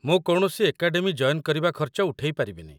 ମୁଁ କୌଣସି academy join କରିବା ଖର୍ଚ୍ଚ ଉଠେଇ ପାରିବିନି ।